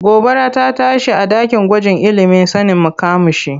Gobara rta tashi a ɗakin gwajin ilimin sanin makamashi.